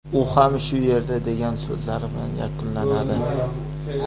U ham shu yerda”, degan so‘zlari bilan yakunlanadi.